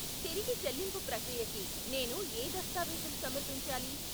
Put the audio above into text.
తిరిగి చెల్లింపు ప్రక్రియకి నేను ఏ దస్తావీజులు సమర్పించాలి?